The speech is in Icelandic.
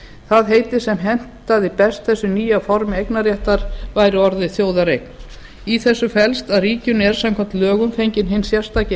það heiti sem hentaði best þessu nýja formi eignarréttar væri orðið þjóðareign í þessu felst að ríkinu er samkvæmt lögum fenginn hinn sérstaki